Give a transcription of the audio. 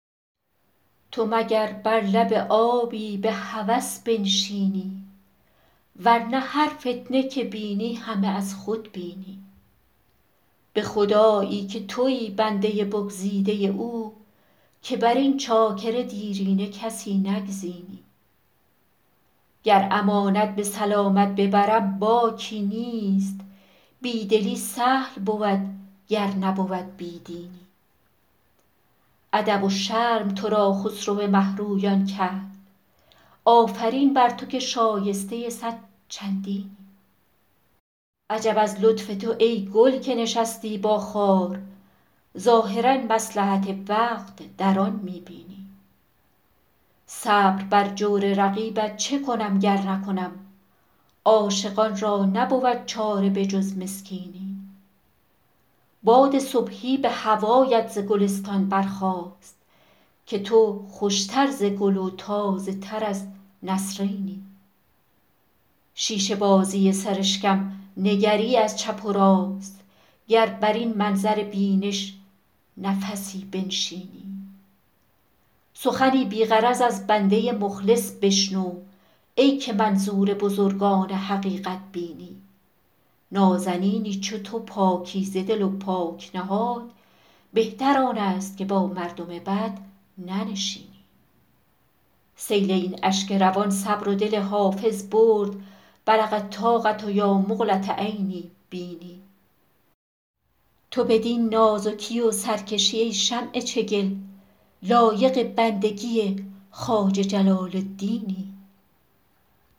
تو مگر بر لب آبی به هوس بنشینی ور نه هر فتنه که بینی همه از خود بینی به خدایی که تویی بنده بگزیده او که بر این چاکر دیرینه کسی نگزینی گر امانت به سلامت ببرم باکی نیست بی دلی سهل بود گر نبود بی دینی ادب و شرم تو را خسرو مه رویان کرد آفرین بر تو که شایسته صد چندینی عجب از لطف تو ای گل که نشستی با خار ظاهرا مصلحت وقت در آن می بینی صبر بر جور رقیبت چه کنم گر نکنم عاشقان را نبود چاره به جز مسکینی باد صبحی به هوایت ز گلستان برخاست که تو خوش تر ز گل و تازه تر از نسرینی شیشه بازی سرشکم نگری از چپ و راست گر بر این منظر بینش نفسی بنشینی سخنی بی غرض از بنده مخلص بشنو ای که منظور بزرگان حقیقت بینی نازنینی چو تو پاکیزه دل و پاک نهاد بهتر آن است که با مردم بد ننشینی سیل این اشک روان صبر و دل حافظ برد بلغ الطاقة یا مقلة عینی بیني تو بدین نازکی و سرکشی ای شمع چگل لایق بندگی خواجه جلال الدینی